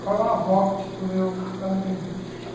Foi uma morte para o meu marido.